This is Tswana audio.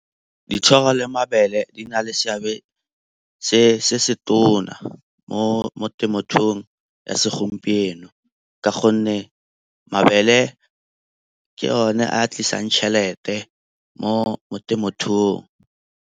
Dithoro le mabele di na le seabe se se tona mo temothuong ya segompieno ka gonne mabele ke one a tlisang tšhelete mo temothuong.